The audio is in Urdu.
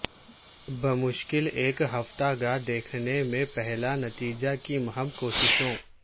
بمشکل ایک ہفتہ گا دیکھنے میں پہلا نتیجہ کی مہم کوششوں